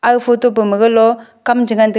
aga photo bama galo kam che ngan taga.